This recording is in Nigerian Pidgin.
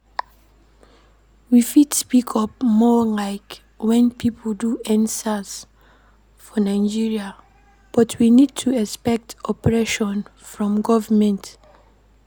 We fit speak up more like when pipo do endsars for Nigeria but we need to expect oppression from government